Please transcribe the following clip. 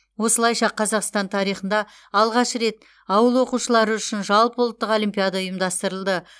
осылайша қазақстан тарихында алғаш рет ауыл оқушылары үшін жалпыұлттық олимпиада ұйымдастырылды